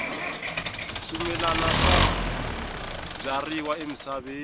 swimilana swi byariwa emisaveni